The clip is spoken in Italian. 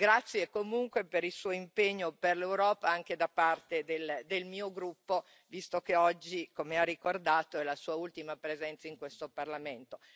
Grazie comunque per il Suo impegno per l'Europa, anche da parte del mio gruppo, visto che oggi, come ha ricordato, è la Sua ultima presenza in questo Parlamento.